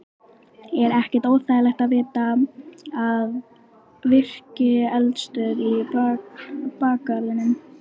Er ekkert óþægilegt að vita af virkri eldstöð í bakgarðinum?